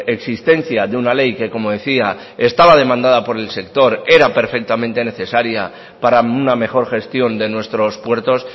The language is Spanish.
existencia de una ley que como decía estaba demandada por el sector era perfectamente necesaria para una mejor gestión de nuestros puertos